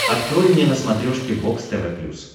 открой мне на смотрешке бокс тв плюс